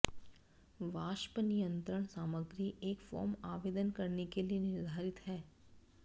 वाष्प नियंत्रण सामग्री एक फोम आवेदन करने के लिए निर्धारित है